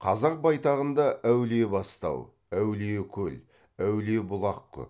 қазақ байтағында әулиебастау әулиекөл әулиебұлақ көп